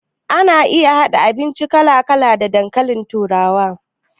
Ana iya haɗa abinci kala kala da dankalin turawa